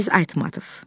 Çingiz Aytmatov.